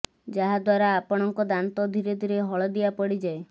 ଯାହା ଦ୍ୱାରା ଆପଣଙ୍କ ଦାନ୍ତ ଧୀରେ ଧୀରେ ହଳଦିଆ ପଡ଼ିଯାଏ